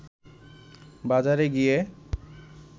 বাজারে গিয়ে